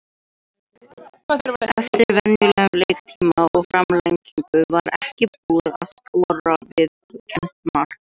Eftir venjulegan leiktíma, og framlengingu var ekki búið að skora viðurkennt mark.